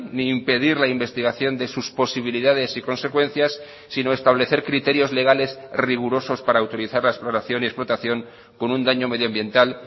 ni impedir la investigación de sus posibilidades y consecuencias sino establecer criterios legales rigurosos para utilizar la exploración y explotación con un daño medioambiental